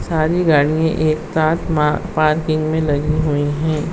सारी गाड़ियाँ एक साथ म पार्किंग में लगी हुई हैं।